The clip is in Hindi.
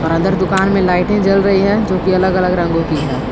अंदर दुकान में लाइटें जल रही है जो की अलग अलग रंगो की है।